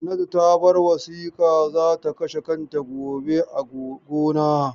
Hannatu ta bar wasiƙa za ka kashe kanta gobe a gona.